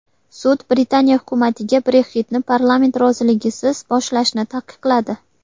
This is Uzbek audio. Sud Britaniya hukumatiga Brexit’ni parlament roziligisiz boshlashni taqiqladi.